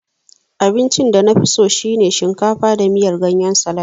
Abincin danafiso shine shinkafa da ganyen salad